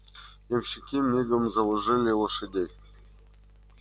ямщики мигом заложили лошадей